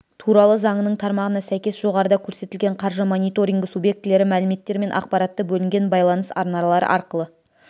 туралы заңының тармағына сәйкес жоғарыда көрсетілген қаржы мониторингі субъектілері мәліметтер мен ақпаратты бөлінген байланыс арналары арқылы